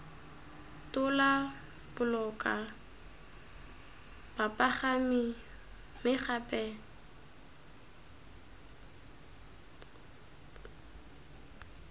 tola boloka bapagami mme gape